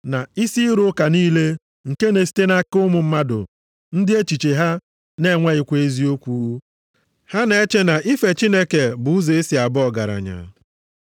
na isi ịrụ ụka niile nke na-esite nʼaka ụmụ mmadụ ndị echiche ha na-enweghịkwa eziokwu. Ha na-eche na ife Chineke bụ ụzọ e si aba ọgaranya.